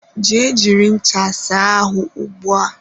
Jee jiri ncha saa ahụ ugbua!